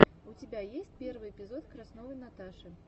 у тебя есть первый эпизод красновой наташи